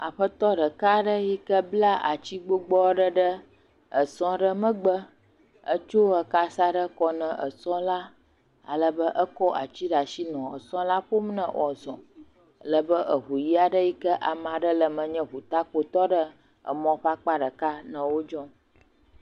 Aƒetɔ ɖeka aɖe yi bla ati gbogbo ɖe sɔ aɖe megbe kɔ eka sa ɖe kɔ na sɔ la alebe ekɔ ati ɖe asi le sɔ la ƒom ne woazɔ alebe ʋu ɣi aɖe yike ame aɖe le eme nye ʋu takpo tɔɖe mɔa ƒe akpa ɖeka nɔ wodzɔm